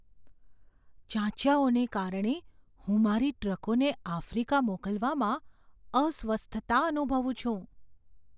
ચાંચિયાઓને કારણે હું મારી ટ્રકોને આફ્રિકા મોકલવામાં અસ્વસ્થતા અનુભવું છું.